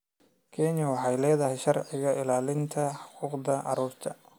Kenya waxay leedahay sharci ilaalinaya xuquuqda carruurta.